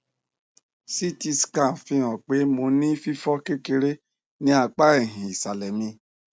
ct scan fihan pe mo ni fifọ kekere ni apa ẹhin isalẹ mi